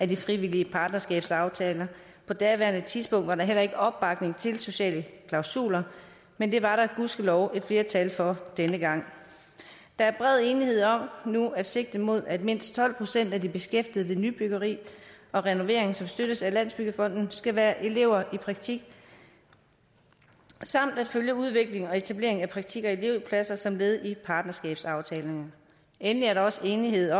de frivillige partnerskabsaftaler og på daværende tidspunkt var der heller ikke opbakning til sociale klausuler men det var der gudskelov et flertal for denne gang der er bred enighed om nu at sigte mod at mindst tolv procent af de beskæftigede ved nybyggeri og renovering som støttes af landsbyggefonden skal være elever i praktik samt at følge udviklingen og etableringen af praktik og elevpladser som led i partnerskabsaftalerne endelig er der også enighed